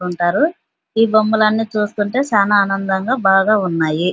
కుంటారు ఈ బొమ్మలన్ను చూస్తుంటే చానా ఆనందంగా బాగా ఉన్నాయి --